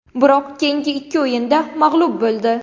Biroq keyingi ikki o‘yinda mag‘lub bo‘ldi.